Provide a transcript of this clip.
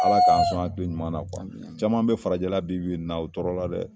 Ala k'an son den ɲumanna kɔni; Caman bɛ farajɛla bi bi in na o tɔɔrɔɔ la dɛ!